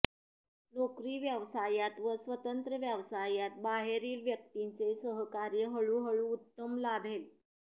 नोकरी व्यवसायात व स्वतंत्र व्यवसायात बाहेरील क्यक्तिंचे सहकार्य हळुहळू उत्तम लाभेल